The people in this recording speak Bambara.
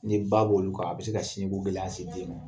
Ni ba b' olu ka a bɛ se ka sinjiko gɛlɛya se den ma.